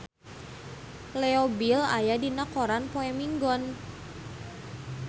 Leo Bill aya dina koran poe Minggon